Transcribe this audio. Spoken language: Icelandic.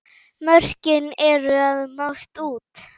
Mörkin eru að mást út.